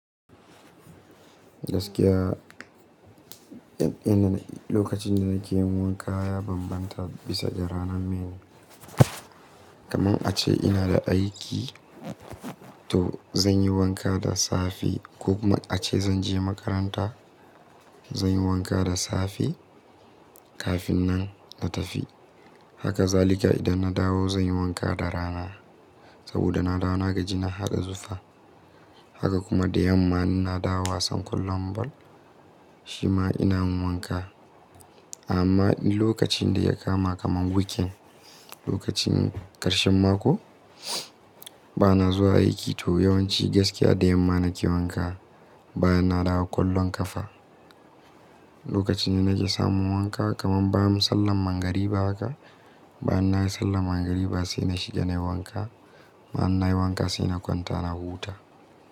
Gaskiya, lokacin da nake yi wanka ya bambanta bisa ga ranar bene. Kamar ace ina da aiki, to zan yi wanka da safe ko kuma ace zan je makaranta, zan yi wanka da safe kafin na tafi. Haka zalika idan na dawo zan yi wanka da rana saboda na dawo naga jina har da zufa. Haka kuma da yamma ina dawo a sankon lambu, shima ina yi wanka. Amma lokacin da ya kama kamar weekend, lokacin karshen mako, ba na zuwa aiki to yawanci gaskiya da yamma nake wanka bayan na dawo ƙwallon ƙafa. Lokacin da nake samu wanka kamar bayan sallan magrib haka, bayan na yi sallan magrib haka sai na shiga nayi wanka. Bayan na yi wanka sai na kwanta na huta.